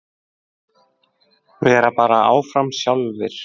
Vera bara áfram sjálfir.